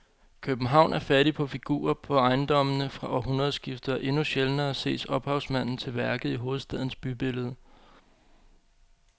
København er fattig på figurer på ejendommene fra århundredskiftet og endnu sjældnere ses ophavsmanden til værket i hovedstadens bybillede.